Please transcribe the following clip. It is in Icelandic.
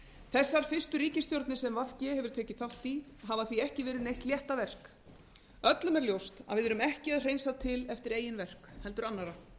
þessar fyrstu ríkisstjórnir sem v g hefur tekið þátt í hafa því ekki verið neitt léttaverk öllum er ljóst að við erum ekki að hreinsa til eftir eigin verk heldur annarra